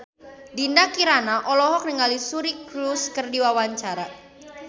Dinda Kirana olohok ningali Suri Cruise keur diwawancara